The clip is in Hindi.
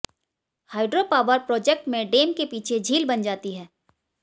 हाइड्रोपावर प्रोजेक्ट में डैम के पीछे झील बन जाती है